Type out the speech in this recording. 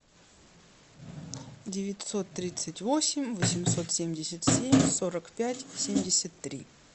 девятьсот тридцать восемь восемьсот семьдесят семь сорок пять семьдесят три